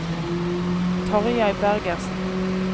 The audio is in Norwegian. Tarjei Bergersen